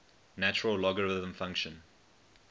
natural logarithm function